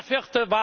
sollte.